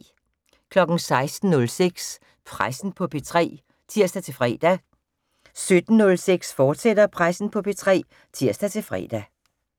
16:06: Pressen på P3 (tir-fre) 17:06: Pressen på P3, fortsat (tir-fre)